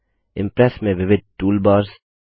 Impress में विविध toolbars